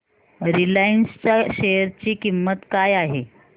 Reliance च्या share ची किंमत काय आहे